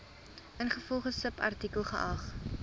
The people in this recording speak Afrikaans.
ingevolge subartikel geag